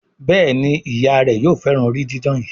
Béèni Ìyá rẹ yóò féràn orí didán yí.